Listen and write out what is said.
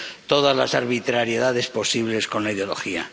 todas las arbitrariedades posibles con la ideología.